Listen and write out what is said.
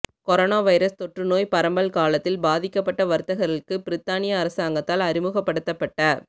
corona virus தொற்று நோய் பரம்பல் காலத்தில் பாதிக்க்ப்பட்ட வர்த்தகர்களுக்கு பிரித்தானிய அரசாங்கத்தால் அறிமுகப்படுத்தப்பட்ட